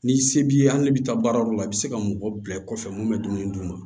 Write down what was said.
Ni se b'i ye hali ni bɛ taa baarayɔrɔ la i bɛ se ka mɔgɔ bila kɔfɛ mun be dumuni d'u ma